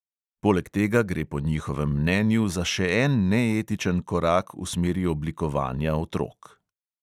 Poleg tega gre po njihovem mnenju za še en neetičen korak v smeri oblikovanja otrok.